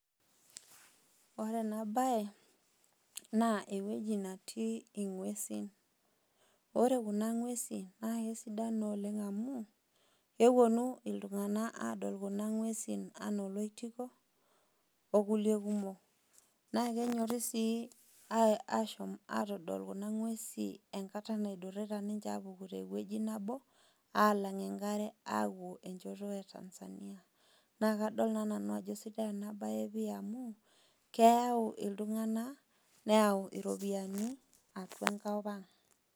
Ore enabae, naa ewueji natii ing'uesin. Ore kuna ng'uesi, na kesidan naa oleng amu, keponu iltung'anak adol kuna ng'uesin anaa oloitiko, okulie kumok. Na kenyori si ashom atodol kuna ng'uesin enkata nadurrita ninche apuku tewueji nabo, alang' enkare apuo enchoto e Tanzania. Na kadol naa nanu ajo sidai inabae pi amu, keyau iltung'anak, neyau iropiyiani, atua enkop ang'.